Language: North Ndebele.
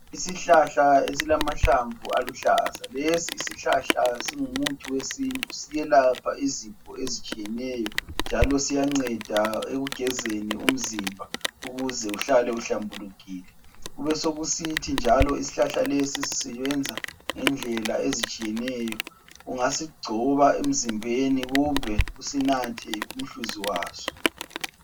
Isihlahla esilamahlamvu aluhlaza lesi isihlahla singumuthi wesintu siyelapha izifo ezitshiyeneyo njalo siyanceda ekugezeni umzimba ukuze uhlale uhlambulukile kube sokusithi njalo isihlahla lesi sisebenza ngendlela ezitshiyeneyo ungasigcoba emzimbeni kumbe usinathe umhluzi waso.